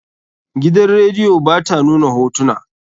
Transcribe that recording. Gidan radiyo ba ta nuna hotuna.